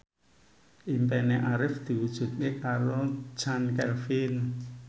impine Arif diwujudke karo Chand Kelvin